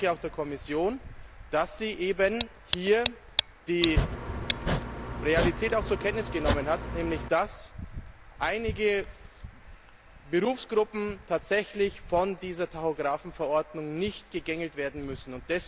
Ich danke auch der Kommission, dass sie hier auch die Realität zur Kenntnis genommen hat, nämlich dass einige Berufsgruppen tatsächlich von dieser Tachografenverordnung nicht gegängelt werden müssen.